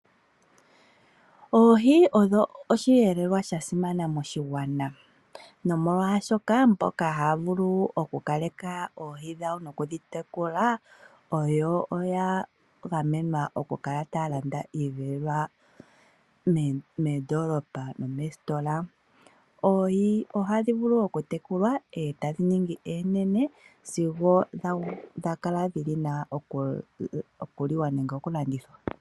Oohi odho osheelelwa sha simana moshigwana nomolwaashoka mboka haya vulu oku kaleka ohi dhawo nokudhi tekula oya gamenwa oku kala taya landa iiyelelwa moondoolopa nomeesitola. Oohi ohadhi vulu oku tekulwa oonene sigo tadhi vule oku li wa nenge oku landithwa.